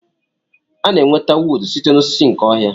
Ana-enweta wuud site n'osisi oké ọhịa.